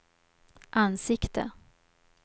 ansikte